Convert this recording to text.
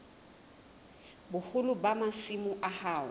boholo ba masimo a hao